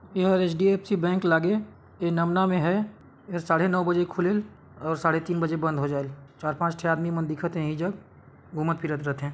एहा HDFC bank लागे ए नमना मे हैं ए साढ़े नौ बजे खुलेल अऊ साढ़े तीन बजे बंद हो जाएल चार् पाँच ठी आदमी मन दिखा थे इहि जग घुमत फिरत रथे ।